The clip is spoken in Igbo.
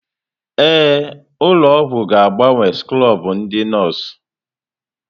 Ee, ụlọ ọgwụ ga-agbanwe skrọbụ ndị nọọsụ.